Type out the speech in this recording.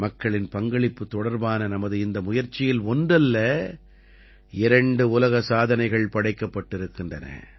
மக்களின் பங்களிப்பு தொடர்பான நமது இந்த முயற்சியில் ஒன்றல்ல இரண்டு உலக சாதனைகள் படைக்கப்பட்டிருக்கின்றன